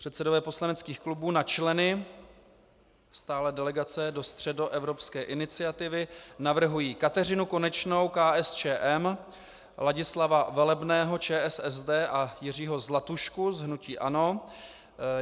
Předsedové poslaneckých klubů na členy stálé delegace do Středoevropské iniciativy navrhují Kateřinu Konečnou - KSČM, Ladislava Velebného - ČSSD a Jiřího Zlatušku z hnutí ANO.